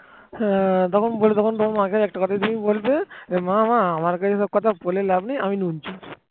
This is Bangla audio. হ্যাঁ যখন বলবে তখন তোমার মাকে একটা কথাই তুমি বলবে মা আমার কাছে এসব কথা বলে কোন লাভ নেই আমি নুন চোর